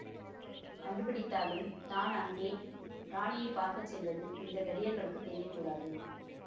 கண்டுபிடித்தாலும் தான் அங்கே ராணியை பார்க்க செல்வது இந்த தடியர்களுக்குத் தெரிய கூடாது